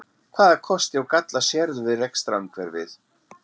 Hvaða kosti og galla sérðu við rekstrarumhverfið?